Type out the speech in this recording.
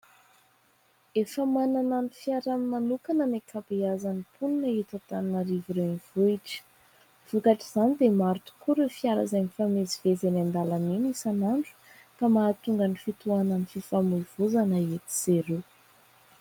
Efa manana ny fiarany manokana ny ankabeazan'ny mponina eto Antananarivo renivohitra, vokatr'izany dia maro tokoa ireo fiara izay mifamezivezy eny an-dalana isanandro ka mahatonga ny fitohanan'ny fifamoivoizana etsy sy eroa.